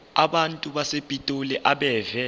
abantu basepitoli abeve